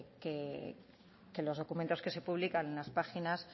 que los documentos que se publican en las páginas